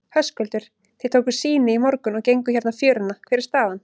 Höskuldur: Þið tókuð sýni í morgun og genguð hérna fjöruna, hver er staðan?